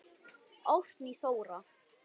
Árný Þóra.